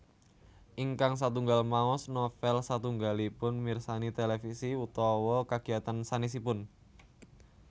Ingkang satunggal maos novel satunggalipun mirsani televisi utawa kagiyatan sanésipun